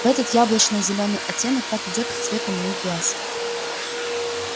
а этот яблочно-зеленый оттенок так идёт к цвету моих глаз